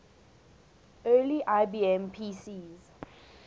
early ibm pcs